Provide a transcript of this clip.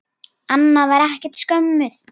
Anna var ekkert skömmuð.